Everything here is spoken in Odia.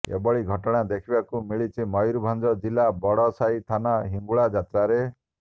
ଏଭଳି ଘଟଣା ଦେଖିବାକୁ ମିଳିଛି ମୟୁରଭଂଜ ଜିଲ୍ଲା ବଡସାହି ଥାନା ହିଙ୍ଗୁଳା ଯାତ୍ରାରେ